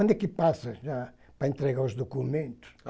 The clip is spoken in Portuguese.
Onde é que passa lá, para entregar os documentos?